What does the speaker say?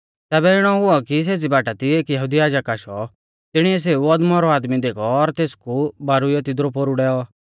तैबै इणौ हुऔ कि सेज़ी बाटा दी एक यहुदी याजक आशौ तिणीऐ सेऊ अदमौरौ आदमी देखौ और तेसकु बारुइयौ तिदरु पोरु डैऔ